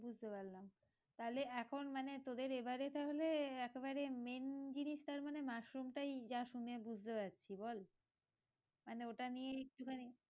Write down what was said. বুঝতে পারলাম তালে এখন মানে তোদের এবারে তাহলে একবারে main জিনিস তারমানে মাশরুম টাই যা শুনে বুঝতে পারছি বল মানে ওটা নিয়ে একটুখানি